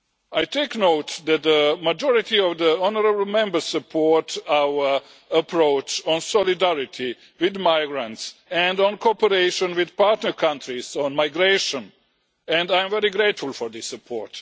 I take note that that majority of the honourable Members support our approach on solidarity with migrants and on cooperation with partner countries on migration, and I am very grateful for this support.